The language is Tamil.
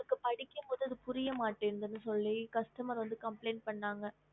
படிக்கும் பொது புரிய மாடுனு சொல்ராங்க